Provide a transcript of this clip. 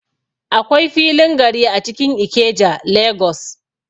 Akwai filin gari a cikin Ikeja, Lagos.